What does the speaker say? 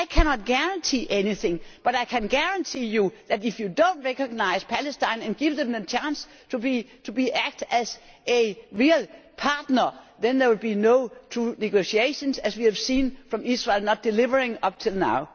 I cannot guarantee anything, but I can guarantee to you that, if you do not recognise Palestine and give it a chance to act as a real partner, there will be no true negotiations, as we have seen from Israel not delivering up to now.